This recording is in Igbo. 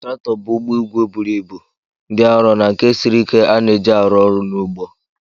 Traktọ bụ ugbo igwe buru ibu, dị arọ na nke siri ike a na-eji aru oru n'ugbo